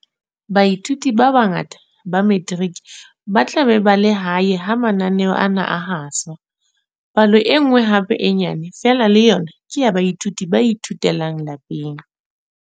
Baithuti ba bangata ba Metiriki ba tla be ba le hae ha mananeo ana a haswa. Palo e nngwe hape e nyane feela le yona ke ya baithuti ba ithutelang lapeng.